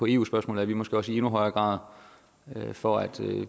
eu spørgsmål er vi måske også i endnu højere grad for at